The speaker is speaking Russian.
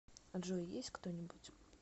джой есть кто нибудь